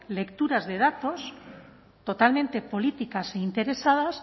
lecturas de datos totalmente políticas e interesadas